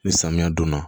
Ni samiya donna